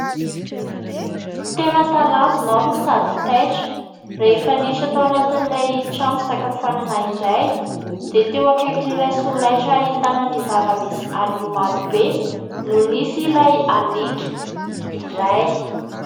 Tena talanjona aho no sady taitra rehefa niditra tao anatin'ilay trano fisakafoanana iray. Dia teo akaikin'ilay solaitra ahitana ny zava-misy anio maro be no nisy ilay aliaka iray.